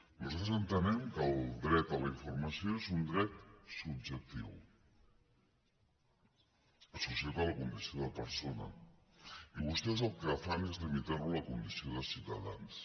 nosaltres entenem que el dret a la informació és un dret subjectiu associat a la condició de persona i vostès el que fan és limitar ho a la condició de ciutadans